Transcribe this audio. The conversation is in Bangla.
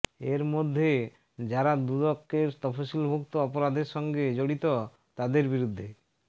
এর মধ্যে যারা দুদকের তফসিলভুক্ত অপরাধের সঙ্গে জড়িত তাদের বিরুদ্ধে